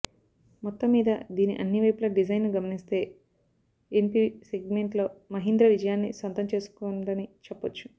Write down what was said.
మొత్తం మీద దీని అన్ని వైపుల డిజైన్ను గమనిస్తే ఎమ్పివి సెగ్మెంట్లో మహీంద్రా విజయాన్ని సొంతం చేసుకోనుందని చెప్పొచ్చు